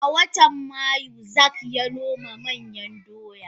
A watan mayu zak yanoma manyan doya.